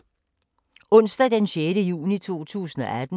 Onsdag d. 6. juni 2018